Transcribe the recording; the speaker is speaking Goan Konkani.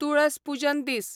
तुळस पुजन दीस